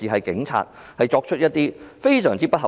警方作出的要求非常不合理。